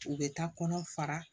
U bɛ taa kɔnɔ fara